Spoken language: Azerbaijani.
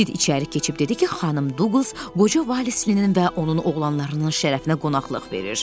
Sid içəri keçib dedi ki, xanım Duqlas qoca valisinin və onun oğlanlarının şərəfinə qonaqlıq verir.